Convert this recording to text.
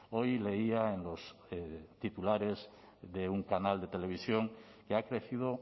hoy leía en los titulares de un canal de televisión que ha crecido